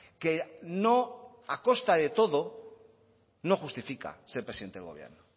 que no a costa de todo no justifica ser presidente del gobierno